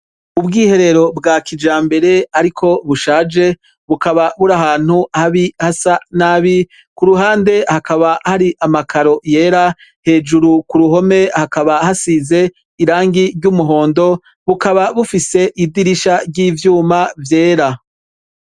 Ubwiherero bwa kijambere ariko bushaje, bukaba buri ahantu habi hasa nabi, ku ruhande hakaba hari amakaro yera, hejuru ku ruhome hakaba hasize irangi ry'umuhondo, bukaba bufise idirisha ry'ivyuma vyera.